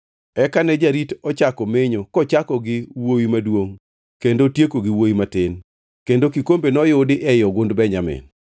Eka ne jarit ochako menyo kochako gi wuowi maduongʼ kendo otieko gi wuowi matin kendo kikombe noyudi ei ogund Benjamin.